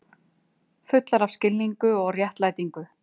Fullar af skilningi og réttlætingu.